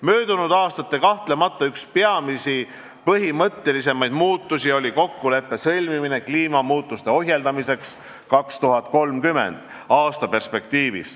Möödunud aastatel oli kahtlemata üks peamisi põhimõttelisemaid muutusi kokkuleppe sõlmimine kliimamuutuste ohjeldamiseks 2030. aasta perspektiivis.